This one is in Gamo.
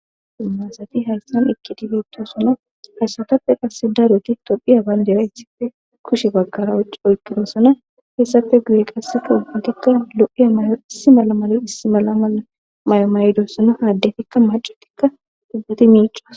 imasati hayssan ekkidibettosana hayssatappe qasse daroti tophiya bayndera ythife kushe bagkara ci olpidossana heessafe guye qassefa hudikka lo7iya may7o issi mala mala issi mala mala may7o maydossana haaddefikka macatikka dubbati miicoas